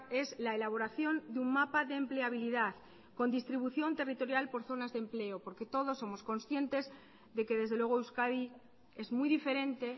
es la elaboración de un mapa de empleabilidad con distribución territorial por zonas de empleo porque todos somos conscientes de que desde luego euskadi es muy diferente